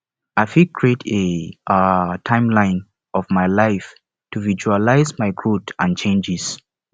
i fit create a um timeline of my life to visualize my growth and changes